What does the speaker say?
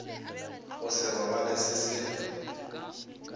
go se robale se se